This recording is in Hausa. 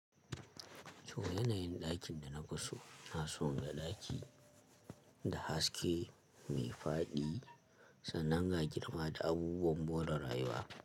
To, yanayin ɗakin da na kusa na so in ga ɗaki da haske mai faɗi, sananga girma da abubuwan more rayuwa.